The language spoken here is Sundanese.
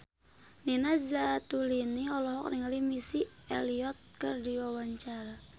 Nina Zatulini olohok ningali Missy Elliott keur diwawancara